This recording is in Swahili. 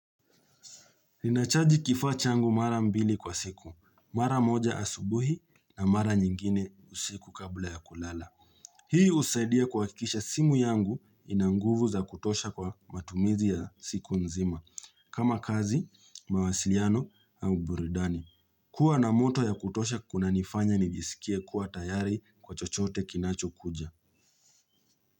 Ninachaji kifaa changu mara mbili kwa siku, mara moja asubuhi na mara nyingine usiku kabla ya kulala. Hii usaidia kuwakikisha simu yangu ina nguvu za kutosha kwa matumizi ya siku nzima, kama kazi, mawasiliano au buridani. Kua na moto ya kutosha kuna nifanya nijisikie kuwa tayari kwa chochote kinacho kuja.